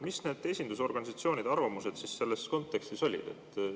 Mis need esindusorganisatsioonide arvamused selles kontekstis olid?